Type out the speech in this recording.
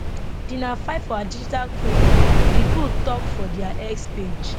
di na fight for our digital freedom di group tok for dia x page